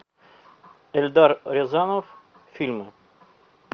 эльдар рязанов фильмы